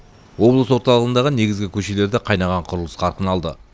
облыс орталығындағы негізгі көшелерде қайнаған құрылыс қарқын алды